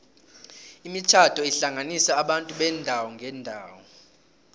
imitjhado ihlanganisa abantu beendawo ngeendawo